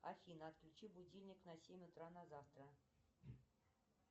афина отключи будильник на семь утра на завтра